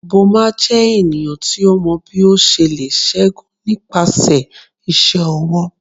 Boma jẹ eniyan ti o mọ bi o ṣe le ṣẹgun nipasẹ iṣẹ ọwọ